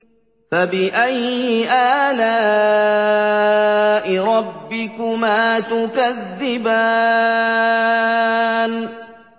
فَبِأَيِّ آلَاءِ رَبِّكُمَا تُكَذِّبَانِ